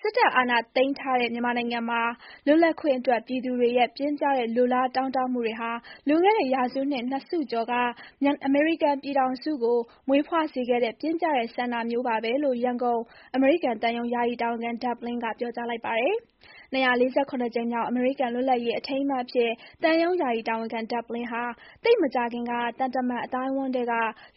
စစ်တပ် အာဏာသိမ်းထားတဲ့ မြန်မာနိုင်ငံမှာ လွတ်လပ်ခွင့်အတွက် ပြည်သူတွေရဲ့ ပြင်းပြတဲ့ လိုလားတောင်းတမှုတွေဟာ လွန်ခဲ့တဲ့ ရာစုနှစ် ၂ စုကျော်က အမေရိကန်ပြည်ထောင်စုကို မွေးဖွားစေခဲ့တဲ့ ပြင်းပြတဲ့ဆန္ဒမျိုးပါပဲလို့ ရန်ကုန် အမေရိကန်သံရုံး ယာယီတာဝန်ခံ ဒက်ဘ်လင်း က ပြောကြားလိုက်ပါတယ်။ ကြိမ်မြောက် အမေရိကန် လွတ်လပ်ရေးနေ့ အထိမ်းအမှတ်အဖြစ် သံရုံး ယာယီတာဝန်ခံ ဒက်ဘ်လင်းဟာ သိပ်မကြာခင်က သံတမန် အသိုက်အဝန်းထဲက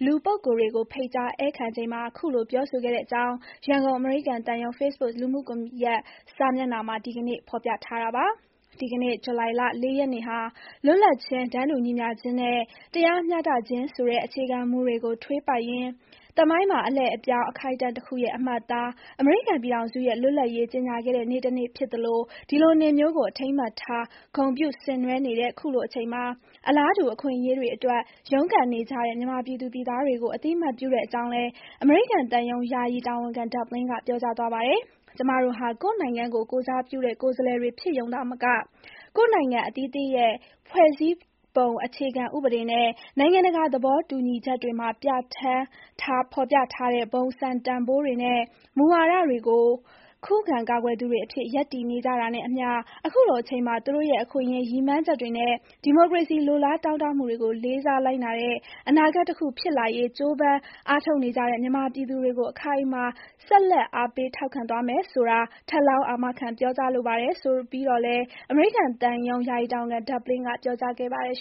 လူပုဂ္ဂိုလ်တွေကို ဖိတ်ကြား ဧည့်ခံချိန်မှာ ခုလို ပြောဆိုခဲ့တဲ့အကြောင်း ရန်ကုန် အမေရိကန်သံရုံး ဖေ့စ်ဘွတ်လူမှုကွန်ရက် စာမျက်နှာမှာ ဒီကနေ့ ဖော်ပြထားတာပါ။ ဒီကနေ့ ဇူလိုင်လ ၄ ရက်နေ့ဟာ လွတ်လပ်ခြင်း၊ တန်းတူညီမျှခြင်းနဲ့ တရားမျှတခြင်းဆိုတဲ့ အခြေခံမူတွေကို ထွေးပိုက်ရင်း သမိုင်းမှာ အလှည့်အပြောင်း အခိုက်အတန့်တခုရဲ့ အမှတ်အသား၊ အမေရိကန် ပြည်ထောင်စုရဲ့ လွတ်လပ်ရေး ကြေညာခဲ့တဲ့နေ့တနေ့ ဖြစ်သလို၊ ဒီလိုနေ့မျိုးကို အထိမ်းအမှတ်ထား ဂုဏ်ပြု ဆင်နွှဲနေတဲ့ ခုလိုအချိန်မှာ အလားတူ အခွင့်အရေးတွေအတွက် ရုန်းကန်နေကြတဲ့ မြန်မာပြည်သူတွေကို အသိအမှတ်ပြုတဲ့အကြောင်းလည်း အမေရိကန် သံရုံး ယာယီ တာဝန်ခံ ဒက်ဘ် လင်း က ပြောကြားသွားပါတယ်။ ကျမတို့ဟာ ကိုယ့်နိုင်ငံကို ကိုယ်စားပြုတဲ့ ကိုယ်စားလှယ်တွေ ဖြစ်ရုံသာမက ကိုယ့်နိုင်ငံအသီးသီးရဲ့ ဖွဲ့စည်းပုံ အခြေခံဥပဒေနဲ့ နိုင်ငံတကာ သဘောတူညီချက်တွေမှာ ပြဌာန်း ဖော်ပြထားတဲ့ ဘုံစံတန်ဖိုးတွေနဲ့ မူဝါတွေကို ခုခံကာကွယ်သူတွေအဖြစ် ရပ်တည်နေကြတာနဲ့ အမျှ၊ ခုလိုအချိန်မှာ သူတို့ရဲ့အခွင့်အရေး၊ ရည်မှန်းချက်တွေနဲ့ ဒီမိုကရေစီ လိုလားတောင့်တမှု တွေကို လေးစားလိုက်နာတဲ့ အနာဂတ်တခု ဖြစ်လာရေး ကြိုးပမ်း အားထုတ်နေကြတဲ့ မြန်မာပြည်သူတွေကို အခိုင်အမာ ဆက်လက် အားပေး ထောက်ခံ သွားမယ်ဆိုတာ ထပ်လောင်း အာမခံ ပြောကြားလိုပါတယ် ဆိုပြီးတော့လည်း အမေရိကန် သံရုံး ယာယီ တာဝန်ခံ ဒက်ဘ် လင်းက ပြောကြားခဲ့ပါတယ်